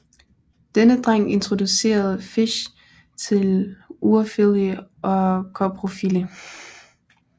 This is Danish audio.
Denne dreng introducerede Fish til urofili og koprofili